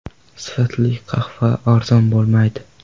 Sifatli qahva arzon bo‘lmaydi.